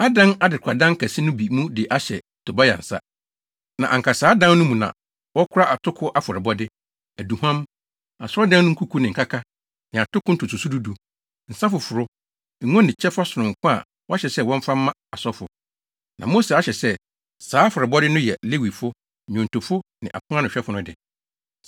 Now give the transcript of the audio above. adan adekoradan kɛse no bi mu de ahyɛ Tobia nsa. Na anka saa dan no mu na wɔkora atoko afɔrebɔde, aduhuam, Asɔredan no nkuku ne nkaka ne atoko ntotoso du du, nsa foforo, ngo ne kyɛfa sononko a wɔahyɛ sɛ wɔmfa mma asɔfo. Na Mose ahyɛ sɛ saa afɔrebɔde no yɛ Lewifo, nnwontofo ne aponanohwɛfo no de.